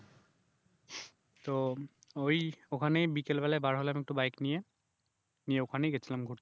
তো ওই ওখানে বিকেল বেলা বার হলাম একটু বাইক নিয়ে নিয়ে ওখানে গেছিলাম ঘুরতে